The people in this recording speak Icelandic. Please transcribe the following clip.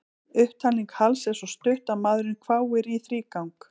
Upptalning Halls er svo stutt að maðurinn hváir í þrígang.